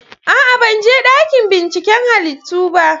A'a! Ban je dakin binciken halittu ba.